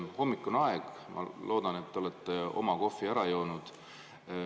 Hommikune aeg ja ma loodan, et te olete oma kohvi ära joonud.